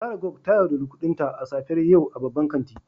Sarah gog ta yauɗari kudinta a safiyar yau a babban kanti.